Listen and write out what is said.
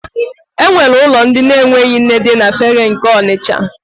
E nwere ụlọ ndị na-enweghị nne dị na Fegge nke Ọnisha.